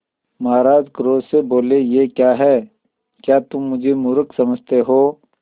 महाराज क्रोध से बोले यह क्या है क्या तुम मुझे मुर्ख समझते हो